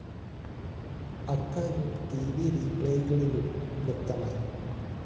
അക്കാര്യം T V റീപ്ലേകളിലും വ്യക്തമായി